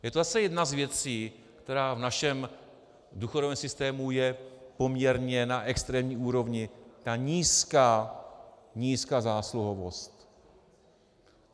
Je to zase jedna z věcí, která v našem důchodovém systému je poměrně na extrémní úrovni, ta nízká zásluhovost.